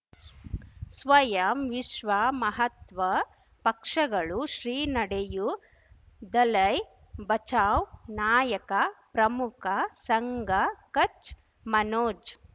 ಸ್ವಯಂ ವಿಶ್ವ ಮಹಾತ್ಮ ಪಕ್ಷಗಳು ಶ್ರೀ ನಡೆಯೂ ದಲೈ ಬಚೌ ನಾಯಕ ಪ್ರಮುಖ ಸಂಘ ಕಚ್ ಮನೋಜ್